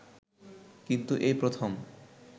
কিন্তু এই প্রথম